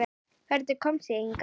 Hvernig komst ég hingað?